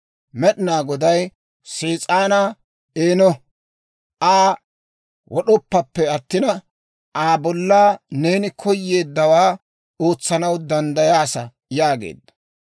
Med'inaa Goday Sees'aanaa, «Eeno, Aa wod'oppappe attina, Aa bolla neeni koyeeddawaa ootsanaw danddayaasa» yaageedda.